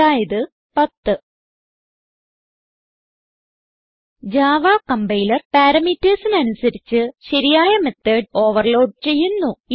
അതായത് 10 Java compiler parametersന് അനുസരിച്ച് ശരിയായ മെത്തോട് ഓവർലോഡ് ചെയ്യുന്നു